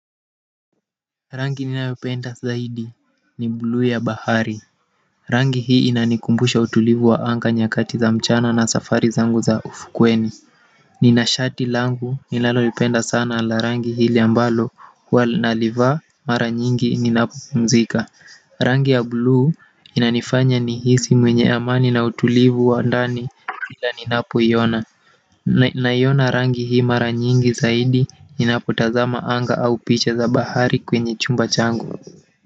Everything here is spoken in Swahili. Rangi ninayopenda zaidi ni bluu ya bahari rangi hii inanikumbusha utulivu wa anga nyakati za mchana na safari zangu za ufukweni nina shati langu ninalolipenda sana la rangi hili ambalo huwa nalivaa mara nyingi ninapopumzika rangi ya bluu inanifanya nihisi mwenye amani na utulivu wa ndani ila ninapoiona naiona rangi hii mara nyingi zaidi ninapotaza anga au picha za bahari kwenye chumba changu.